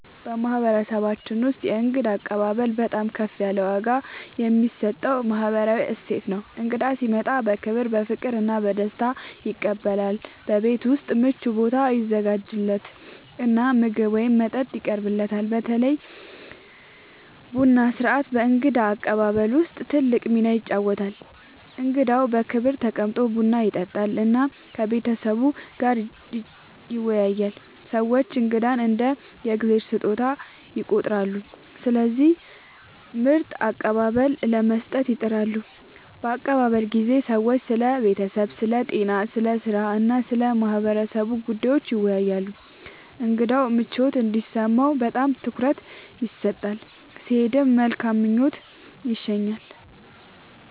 በማህበረሰባችን ውስጥ የእንግዳ አቀባበል በጣም ከፍ ያለ ዋጋ የሚሰጠው ባህላዊ እሴት ነው። እንግዳ ሲመጣ በክብር፣ በፍቅር እና በደስታ ይቀበላል፤ በቤት ውስጥ ምቹ ቦታ ይዘጋጃለት እና ምግብ ወይም መጠጥ ይቀርብለታል። በተለይ ቡና ሥርዓት በእንግዳ አቀባበል ውስጥ ትልቅ ሚና ይጫወታል፣ እንግዳው በክብር ተቀምጦ ቡና ይጠጣል እና ከቤተሰቡ ጋር ይወያያል። ሰዎች እንግዳን እንደ “የእግዚአብሔር ስጦታ” ይቆጥራሉ፣ ስለዚህ ምርጥ አቀባበል ለመስጠት ይጥራሉ። በአቀባበል ጊዜ ሰዎች ስለ ቤተሰብ፣ ስለ ጤና፣ ስለ ሥራ እና ስለ ማህበረሰቡ ጉዳዮች ይወያያሉ። እንግዳው ምቾት እንዲሰማው በጣም ትኩረት ይሰጣል፣ ሲሄድም በመልካም ምኞት ይሸኛል።